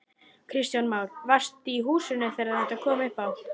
Kristján Már: Varstu í húsinu þegar þetta kom upp á?